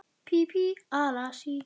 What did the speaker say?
Hellna hjá Ingimundi sterka.